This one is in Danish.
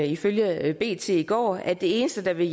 ifølge bt i går at det eneste der vil